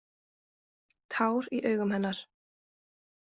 Tár í augum hennar.